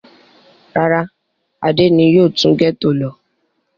Rárá, Adé ni yóò tún gẹ́tò lọ.